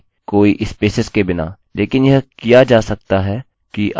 यह याद दिलाएगा कि हमने पहले किससे शुरुआत की थी कोई स्पेसेस के बिना